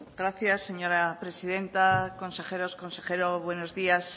gracias señora presidenta consejeros consejero buenos días